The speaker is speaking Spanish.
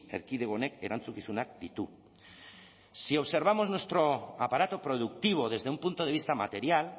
erkidego honek erantzukizunak ditu si observamos nuestro aparato productivo desde un punto de vista material